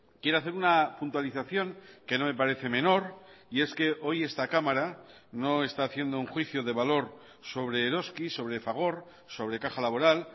quiero hacer una puntualización que no me parece menor y es que hoy esta cámara no está haciendo un juicio de valor sobre eroski sobre fagor sobre caja laboral